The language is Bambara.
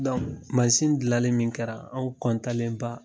dilalen min kɛra anw